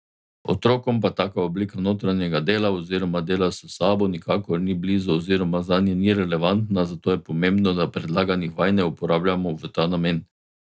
Otrokom pa taka oblika notranjega dela oziroma dela s sabo nikakor ni blizu oziroma zanje ni relevantna, zato je pomembno, da predlaganih vaj ne uporabljamo v ta namen.